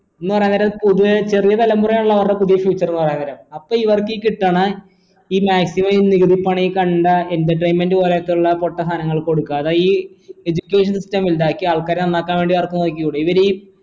പുതിയ ചെറിയ തലമുറ അപ്പോ ഇവർക്ക് ഈ കിട്ടണ ഈ maximum നികുതിപ്പണം ഈ കണ്ട entertainment പോലത്തെയുള്ള പൊട്ട സാധനങ്ങൾക്ക് കൊടുക്കാതെ ഈ education system ഇണ്ടാക്കി ആൾക്കാരെ നന്നാക്കാൻ വേണ്ടി ഇവർക്ക് നോക്കിക്കൂടെ ഇവരീ